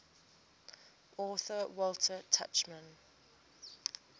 author walter tuchman